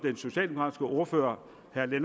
ordfører